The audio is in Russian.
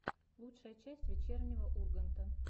лучшая часть вечернего урганта